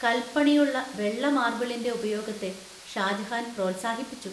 കൽപ്പണിയുള്ള വെള്ള മാർബിളിന്‍റെ ഉപയോഗത്തെ ഷാജഹാൻ പ്രോത്സാഹിപ്പിച്ചു.